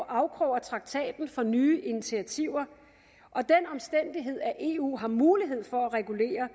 afkrog af traktaten for nye initiativer og den omstændighed at eu har mulighed for at regulere